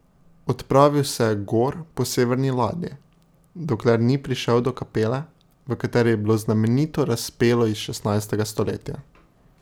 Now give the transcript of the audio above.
Odpravil se je gor po severni ladji, dokler ni prišel do kapele, v kateri je bilo znamenito razpelo iz šestnajstega stoletja.